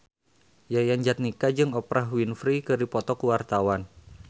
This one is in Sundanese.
Yayan Jatnika jeung Oprah Winfrey keur dipoto ku wartawan